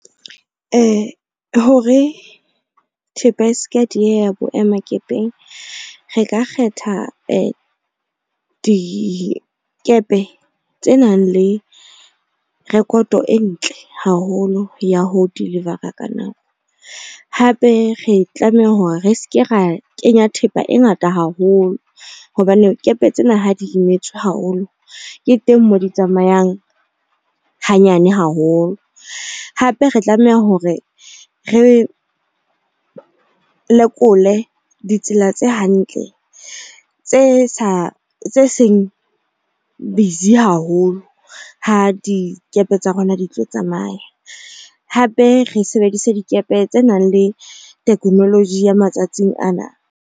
Hore thepa e seke ya dieha boemakepeng, re ka kgetha dikepe tse nang le rekoto e ntle haholo ya ho deliver-a ka nako. Hape re tlameha hore re seke ra kenya thepa e ngata haholo hobane kepe tsena ha di imetswe haholo ke teng moo di tsamayang hanyane haholo. Hape re tlameha hore re lekole ditsela tse hantle tse seng busy haholo ho dikepe tsa rona di tlo tsamaya. Hape re sebedise dikepe tse nang le technology ya matsatsing ana.